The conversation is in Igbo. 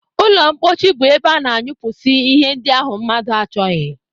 Ụlọmkpochi bụ ebe a na-anyụpụsị ihe ndị ahụ mmadụ achọghị